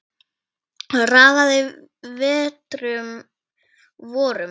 Raðaði vetrum vorum